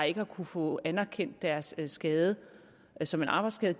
ikke har kunnet få anerkendt deres skade som en arbejdsskade